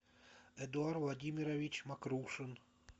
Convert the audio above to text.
эдуард владимирович макрушин